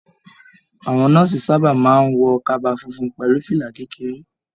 Àwọn nọ́ọ̀sì sábà máa n wọ kaba fúnfún pẹlú fìlà kékeré.